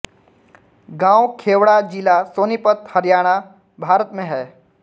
गाँव खेवङा जिला सोनीपत हरियाणा भारत मे है